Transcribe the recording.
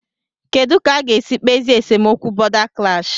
Kedụ ka a ga-esi kpezie esemokwu bọ̀da klash?